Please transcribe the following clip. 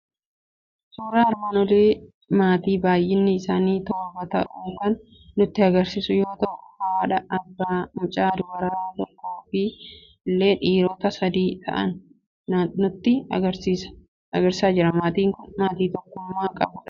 Suuraa armaan olii maatii baay'inni isaanii torba ta'u kan nutti argisiisu yoo ta'u, haadha, abbaa, mucaa dubaraa tokkoo fi ijoollee dhiirotaa sadii ta'an nutti argisiisaa jira. Maatiin kun maatii tokkummaa qabudha.